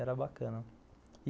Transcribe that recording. Era bacana.